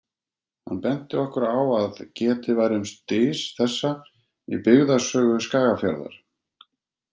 Hann benti okkur á að getið væri um dys þessa í Byggðasögu Skagafjarðar.